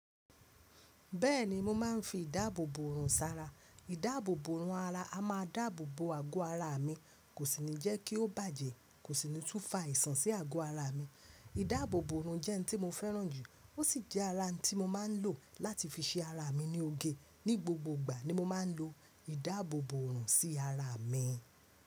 Bẹ́ẹ̀ni mo máa ń fi ìdáàbò bòrùn sara. Ìdáàbò bòrùn ara a máa dáàbò bò àgò ara mi, kò sì ní jẹ́ kí ó bàjẹ́, kò sì ní tú fa àìsàn sí àgò ara mi. Ìdáàbò bòrùn jẹ́ ihn tí mo fẹ́ràn jù. Ó sì jẹ́ ara n tí mo máa ń lò láti fi ṣe ara mi ní oge. Ni gbogbo ìgbà ni mo máa ń lo ìdáàbò bòrùn sí ara mi.